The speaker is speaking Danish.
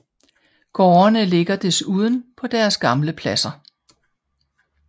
Gårdene ligger desuden på deres gamle pladser